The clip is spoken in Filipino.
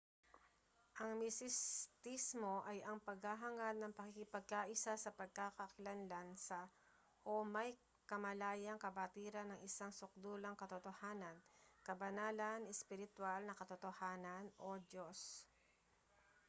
ang misistismo ay ang paghahangad ng pakikipagkaisa sa pagkakakilanlan sa o may kamalayang kabatiran ng isang sukdulang katotohanan kabanalan ispiritwal na katotohanan o diyos